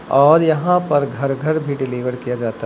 और यहां पर घर घर भी डिलीवर किया जाता--